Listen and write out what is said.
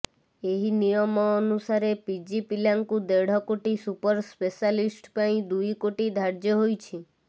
ଏହି ନିୟମ ଅନୁସାରେ ପିଜି ପିଲାଙ୍କୁ ଦେଢ କୋଟି ସୁପର ସ୍ପେଶାଲିଷ୍ଟ ପାଇଁ ଦୁଇ କୋଟି ଧାର୍ଯ୍ୟ ହୋଇଛି